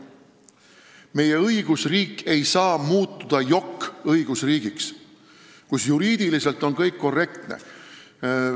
Meie õigusriik ei saa muutuda jokk-õigusriigiks, kus juriidiliselt on kõik korrektne.